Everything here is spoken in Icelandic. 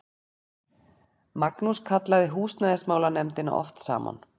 Magnús kallaði húsnæðismálanefndina oft saman.